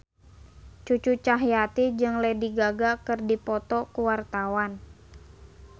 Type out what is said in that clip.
Cucu Cahyati jeung Lady Gaga keur dipoto ku wartawan